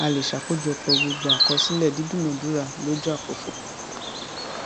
a lè ṣàkójọpọ gbogbo àkọsílẹ dídúnadúrà lójú àkókò